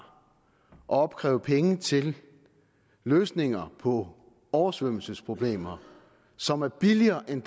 at opkræve penge til løsninger på oversvømmelsesproblemer som er billigere end